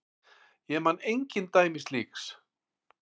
Ég man engin dæmi slíks.